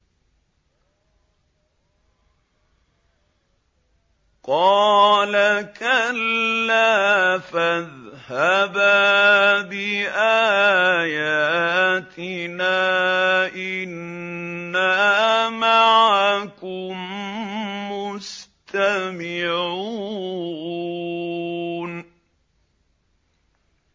قَالَ كَلَّا ۖ فَاذْهَبَا بِآيَاتِنَا ۖ إِنَّا مَعَكُم مُّسْتَمِعُونَ